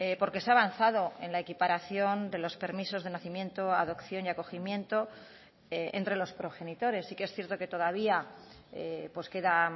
porque se ha avanzado en la equiparación de los permisos de nacimiento adopción y acogimiento entre los progenitores sí que es cierto que todavía queda